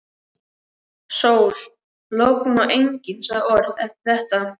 Sól, logn og enginn sagði orð eftir þetta.